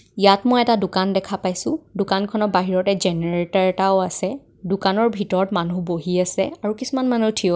ইয়াত মই এটা দোকান দেখা পাইছোঁ দোকানখনৰ বাহিৰতে জেনেৰেত ৰ এটাও আছে দোকানৰ ভিতৰত মানুহ বহি আছে কিছুমান মানুহ থিয় হৈ --